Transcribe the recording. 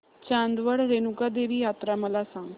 चांदवड रेणुका देवी यात्रा मला सांग